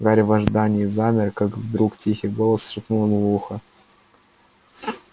гарри в ожидании замер как вдруг тихий голос шепнул ему в ухо